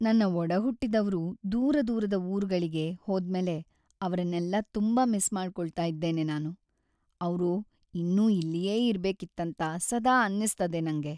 ನನ್ನ ಒಡಹುಟ್ಟಿದವ್ರು ದೂರದೂರದ ಊರುಗಳಿಗೆ ಹೋದ್ಮೇಲೆ ಅವ್ರನ್ನೆಲ್ಲ ತುಂಬಾ ಮಿಸ್ ಮಾಡ್ಕೊಳ್ತಾ ಇದ್ದೇನೆ ನಾನು. ಅವ್ರು ಇನ್ನೂ ಇಲ್ಲಿಯೇ ಇರ್ಬೇಕಿತ್ತಂತ ಸದಾ ಅನ್ನಿಸ್ತದೆ ನಂಗೆ.